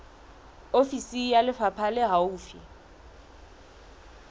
ofisi ya lefapha le haufi